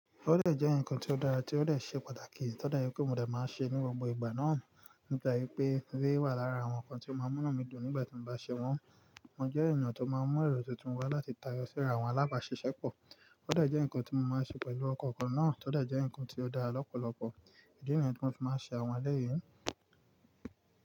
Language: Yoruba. Tó dẹ jẹ́ ǹkan ti ó dára tí ó dẹ ṣe pàtàkì, tó dẹ jẹ pé mo dé máa ṣe ní gbogbo ìgbà náà. Nígbà yí pé eléyìí wà lára àwọn ǹkan tí ó máa ń mú mí dùn nígbà tí mo bá ṣe wọ́n. Mo jẹ́ èèyàn tó máa ń mú èrò titun wá láti tayọ síra àwọn alábàáṣiṣẹ́pọ̀. Ó dẹ jẹ́ ǹkan tí mo máa ń ṣe pẹ̀lú ọ̀kọ̀ọ̀kan náà. Tó dé jẹ́ ǹkan tí ó dára lọ́pọ̀lọpọ̀. Ìdí nìyẹn ni mo ti máa ń ṣe àwọn eléyìí.